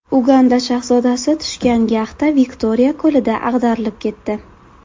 Uganda shahzodasi tushgan yaxta Viktoriya ko‘lida ag‘darilib ketdi.